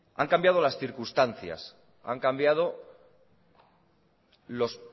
han cambiado las circunstancias han cambiado los